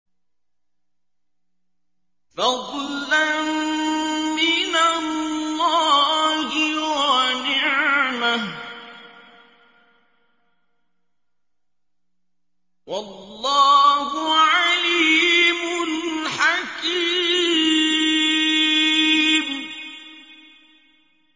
فَضْلًا مِّنَ اللَّهِ وَنِعْمَةً ۚ وَاللَّهُ عَلِيمٌ حَكِيمٌ